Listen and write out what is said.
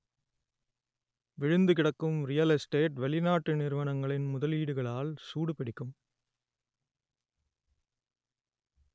விழுந்து கிடக்கும் real estate வெளிநாட்டு நிறுவனங்களின் முதலீடுகளால் சூடு பிடிக்கும்